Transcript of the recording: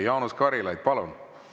Jaanus Karilaid, palun!